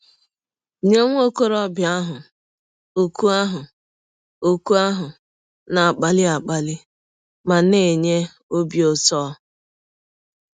Nye nwa ọkọrọbịa ahụ, òkù ahụ òkù ahụ na - akpali akpali ma na - enye ọbi ụtọ!